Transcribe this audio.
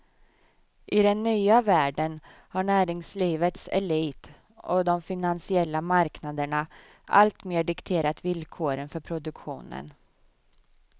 I den nya världen har näringslivets elit och de finansiella marknaderna alltmer dikterat villkoren för produktionen.